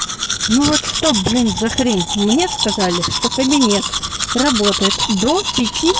ну вот что блин за хрень мне сказали что кабинет работает до пяти